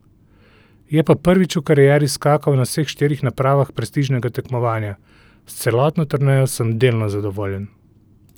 Je pa prvič v karieri skakal na vseh štirih napravah prestižnega tekmovanja: 'S celotno turnejo sem delno zadovoljen.